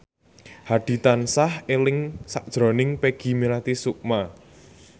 Hadi tansah eling sakjroning Peggy Melati Sukma